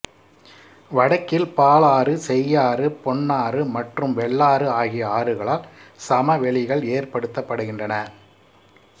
வடக்கில் பாலாறு செய்யாறு பெண்ணாறு மற்றும் வெள்ளாறு ஆகிய ஆறுகளால் சமவெளிகள் ஏற்படுத்தப்படுகின்றன